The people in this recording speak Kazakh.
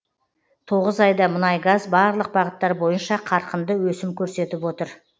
тоғыз айда мұнайгаз барлық бағыттар бойынша қарқынды өсім көрсетіп отыр